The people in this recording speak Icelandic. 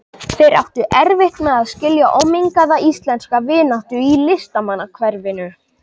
Þeir áttu erfitt með að skilja ómengaða íslenska vináttu í listamannahverfinu.